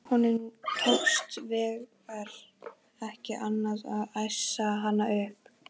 Honum tókst hins vegar ekki annað en æsa hana upp.